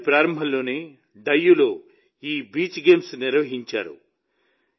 ఈ ఏడాది ప్రారంభంలోనే డయ్యూలో ఈ బీచ్ గేమ్స్ నిర్వహించారు